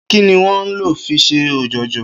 Kí ni wó̩n ń lò fi s̩e ò̩jò̩jò̩?